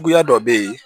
Juguya dɔ bɛ ye